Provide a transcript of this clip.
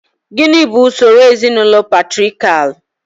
Gịnị bụ usoro ezinaụlọ patriakial?